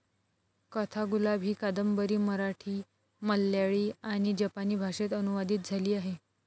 कथागुलाब ही कादंबरी मराठी, मल्याळी आणि जपानी भाषेत अनुवादित झाली आहे.